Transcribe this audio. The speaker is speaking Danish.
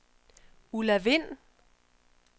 Ulla Wind